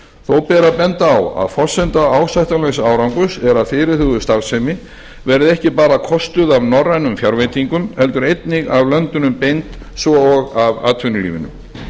þó ber að benda á að forsenda ásættanlegs árangurs er að fyrirhuguð starfsemi verði ekki bara kostuð af norrænum fjárveitingum heldur einnig af löndunum beint og atvinnulífinu